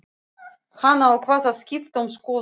Hann ákvað að skipta um skoðun.